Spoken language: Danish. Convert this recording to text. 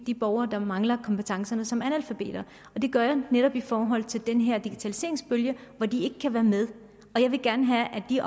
de borgere som mangler kompetencerne som analfabeter det gør jeg netop i forhold til den her digitaliseringsbølge hvor de ikke kan være med og jeg vil gerne have at de